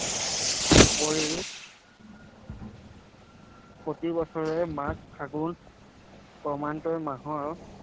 উপৰিও প্ৰতি বছৰে মাঘ, ফাগুন মাহৰ